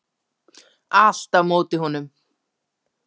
Allt á móti honum.